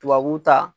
Tubabu ta